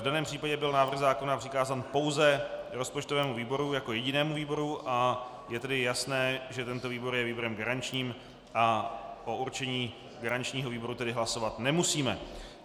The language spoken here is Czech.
V daném případě byl návrh zákona přikázán pouze rozpočtovému výboru jako jedinému výboru, a je tedy jasné, že tento výbor je výborem garančním a o určení garančního výboru tedy hlasovat nemusíme.